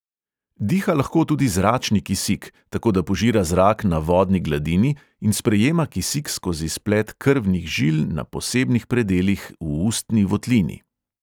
Diha lahko tudi zračni kisik, tako da požira zrak na vodni gladini in sprejema kisik skozi splet krvnih žil na posebnih predelih v ustni votlini.